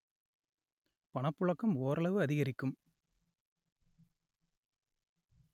பணப்புழக்கம் ஓரளவு அதிகரிக்கும்